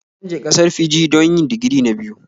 Zan je ƙasar Fiji don yi digiri na biyu